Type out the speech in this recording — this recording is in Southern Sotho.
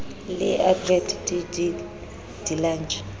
le adv j de lange